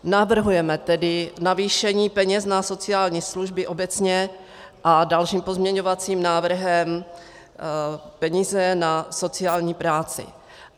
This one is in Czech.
Navrhujeme tedy navýšení peněz na sociální služby obecně a dalším pozměňovacím návrhem peníze na sociální práci.